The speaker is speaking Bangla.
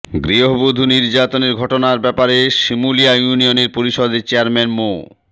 গৃহবধূ নির্যাতনের ঘটনার ব্যাপারে শিমুলিয়া ইউনিয়ন পরিষদের চেয়ারম্যান মো